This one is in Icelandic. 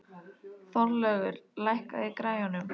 Þorlaugur, lækkaðu í græjunum.